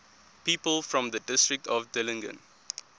people from the district of dillingen